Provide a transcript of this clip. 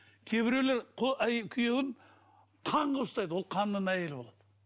кейбіреулер күйеуін хан қылып ұстайды ол ханның әйелі болады